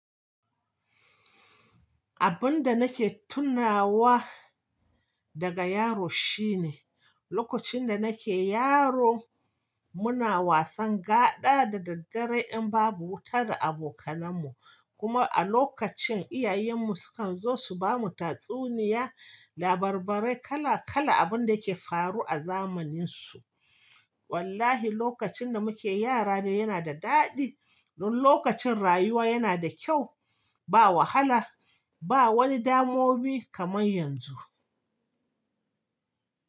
Abun da nake tunawa daga yaro shine, lokacin da nake yaro muna wasan gaɗa da daddare in babu wuta da abokanan mu. Kuma a lokacin iyayen mu sukan zo su bamu tatsuniya, labarbarai kala kala abun da ke faru a zamanin su. Wallahi lokacin da muke yara ne yana da daɗi don lokacin rayuwa yana da kyau ba wahala ba wani damomi kaman yanzu.